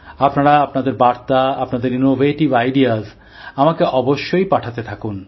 আপনারা আপনাদের বার্তা আপনাদের উদ্ভাবনী ভাবনা আমাকে অবশ্যই পাঠাতে থাকুন